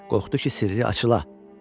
Qorxdu ki, sirri açıla.